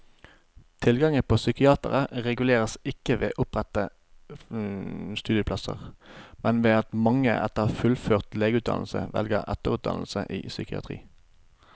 Tilgangen på psykiatere reguleres ikke ved å opprette studieplasser, men ved at mange etter fullført legeutdannelse velger etterutdannelse i psykiatri.